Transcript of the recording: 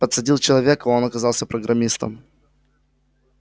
подсадил человека а он оказался программистом